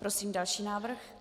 Prosím další návrh.